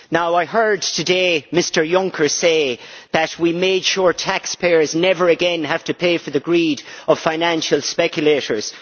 I heard today Mr Juncker say that we made sure taxpayers never again have to pay for the greed of financial speculators.